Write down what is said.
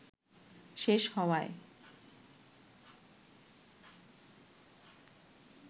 শেষ হওয়ায়